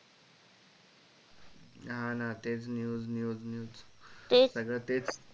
हा ना तेच news news news सगळ तेच